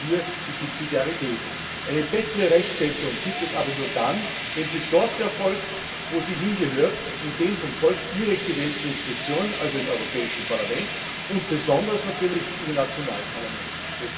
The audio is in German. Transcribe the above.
Wo bleibt hier die Subsidiarität? Eine bessere Rechtsetzung gibt es nur dann, wenn sie dort erfolgt, wo sie hingehört, nämlich in den vom Volk direkt gewählten Institutionen, also im Europäischen Parlament und besonders natürlich in den nationalen Parlamenten.